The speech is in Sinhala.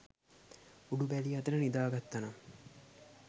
උඩු බැලි අතට නිදාගත්තනම්